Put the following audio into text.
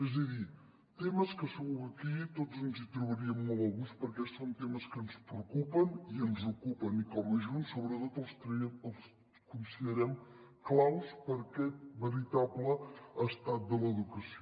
és a dir temes que segur que aquí tots ens hi trobaríem molt a gust perquè són temes que ens preocupen i ens ocupen i com a junts sobretot els considerem clau per aquest veritable estat de l’educació